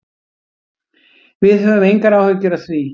Við höfum engar áhyggjur af því.